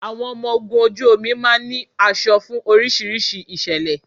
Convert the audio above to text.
Àwọn ọmọ ogun ojú omi máa ń ní aṣọ fún oríṣiríṣi ìṣẹ̀lẹ̀